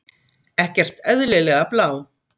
Ekkert eðlilega blá.